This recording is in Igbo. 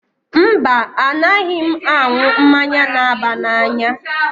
Mba, a naghị m aṅu mmanya n'aba n'anya